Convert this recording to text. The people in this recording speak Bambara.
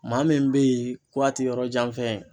Maa min bɛ yen k'a ti yɔrɔjanfɛn ye.